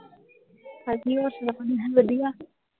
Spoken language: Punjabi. ਹਾਂਜੀ ਹੋਰ ਸੁਣਾਓ ਵਧੀਆ।